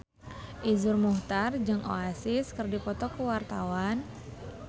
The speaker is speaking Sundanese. Iszur Muchtar jeung Oasis keur dipoto ku wartawan